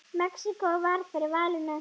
Mexíkó varð fyrir valinu.